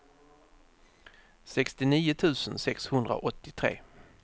sextionio tusen sexhundraåttiotre